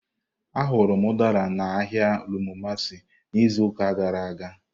Ahụrụ m Udara na ahịa Rumuomasi n'izuụka gara aga.